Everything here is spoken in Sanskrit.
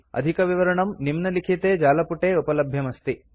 अधिकविवरणं निम्नलिखिते जालपुटे उपलभ्यमस्ति